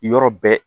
Yɔrɔ bɛɛ